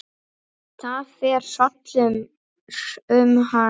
Það fer hrollur um hann.